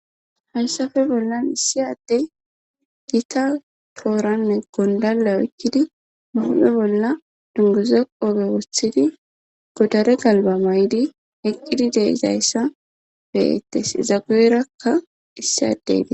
Hansafe bollan issi addey gita tooranne gondala oykkidi ba hube bolla dunguze qobe woththidi godare galba may'di eqqidi deizayssa beyettes izaguerakka issi addeti.